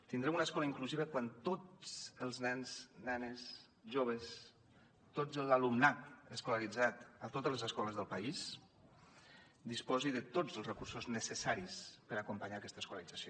tindrem una escola inclusiva quan tots els nens nenes joves tot l’alumnat escolaritzat a totes les escoles del país disposi de tots els recursos necessaris per acompanyar aquesta escolarització